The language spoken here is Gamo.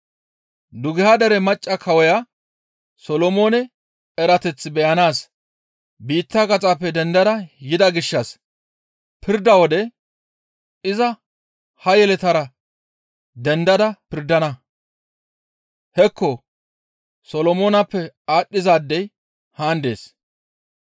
Dugeha dere macca kawoya Solomoone erateth beyanaas biitta gaxappe dendada yida gishshas pirda wode iza ha yeletara dendada pirdana; hekko Solomooneppe aadhdhizaadey haan dees.